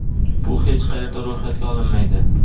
bu hech qayerda ro‘yxatga olinmaydi.